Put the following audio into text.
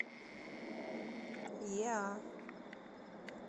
еа